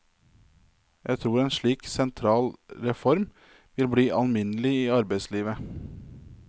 Jeg tror en slik sentral reform vil bli alminnelig i arbeidslivet.